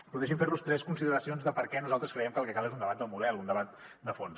però deixi’m fer los tres consideracions de per què nosaltres creiem que el que cal és un debat del model un debat de fons